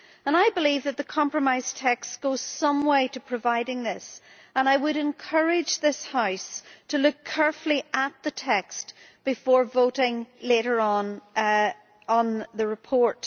I believe that the compromise text goes some way to providing this, and I would encourage this House to look carefully at the text before voting later on the report.